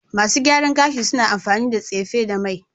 Masu gyaran gashi suna amfani da tsefe da mai